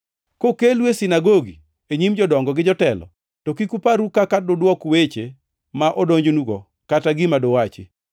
“Kokelu e sinagogi, e nyim jodongo gi jotelo, to kik uparru kaka dudwok weche ma odonjnugo, kata gima duwachi,